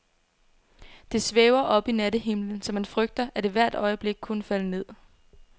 Det svæver oppe i nattehimlen, så man frygter, at det hvert øjeblik kunne falde ned.